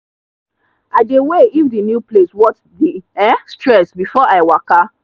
i dey weigh if the new place worth the um stress before i waka.